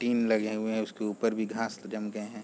Tin लगे हुए है उसके ऊपर भी घास जम गए हैं ।